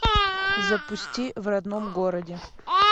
запусти в родном городе